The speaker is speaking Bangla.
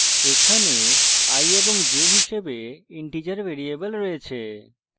এখানে i এবং j হিসাবে integer ভেরিয়েবল রয়েছে